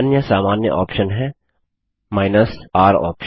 अन्य सामान्य ऑप्शन है r ऑप्शन